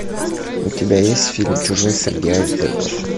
у тебя есть фильм чужой среди айсбергов